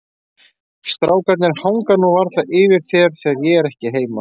Strákarnir hanga nú varla yfir þér þegar ég er ekki heima.